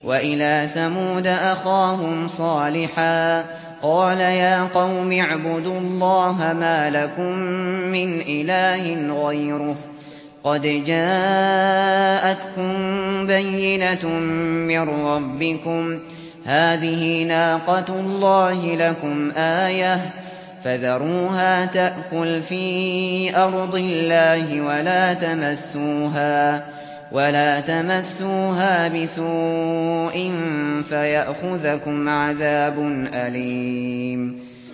وَإِلَىٰ ثَمُودَ أَخَاهُمْ صَالِحًا ۗ قَالَ يَا قَوْمِ اعْبُدُوا اللَّهَ مَا لَكُم مِّنْ إِلَٰهٍ غَيْرُهُ ۖ قَدْ جَاءَتْكُم بَيِّنَةٌ مِّن رَّبِّكُمْ ۖ هَٰذِهِ نَاقَةُ اللَّهِ لَكُمْ آيَةً ۖ فَذَرُوهَا تَأْكُلْ فِي أَرْضِ اللَّهِ ۖ وَلَا تَمَسُّوهَا بِسُوءٍ فَيَأْخُذَكُمْ عَذَابٌ أَلِيمٌ